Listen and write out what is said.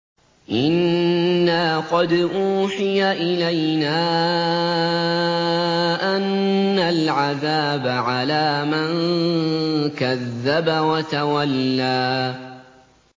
إِنَّا قَدْ أُوحِيَ إِلَيْنَا أَنَّ الْعَذَابَ عَلَىٰ مَن كَذَّبَ وَتَوَلَّىٰ